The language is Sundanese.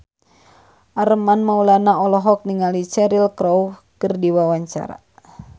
Armand Maulana olohok ningali Cheryl Crow keur diwawancara